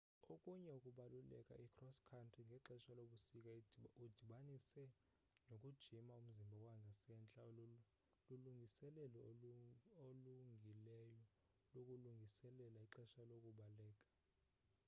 okunye ukubaleka i-cross country ngexesha lobusika udibanise nokujima umzimba wangasentla lulungiselelo olungileyo lokulungiselela ixesha lokubaleka